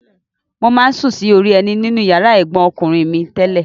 Mo máa ń sùn sí orí ẹní nínú ìyàrá ẹ̀gbọ́n mi ọkùnrin tẹ́lẹ̀.